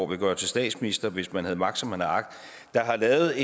ville gøre til statsminister hvis man havde magt som man har agt der har lavet